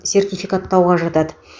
сертификаттауға жатады